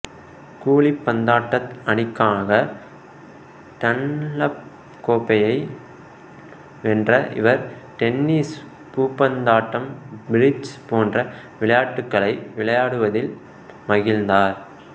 குழிப்பந்தாட்ட அணிக்காக டன்லப் கோப்பையை வென்ற இவர் டென்னிசு பூப்பந்தாட்டம் பிரிட்ஜ் போன்ற விளையாட்டுகளை விளையாடுவதில் மகிழ்ந்தார்